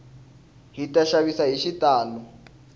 hita xavisa hi xitalo